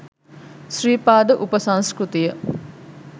Sri Pada උපසංස්කෘතිය.